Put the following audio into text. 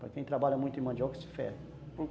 Para quem trabalha muito em mandioca se fere.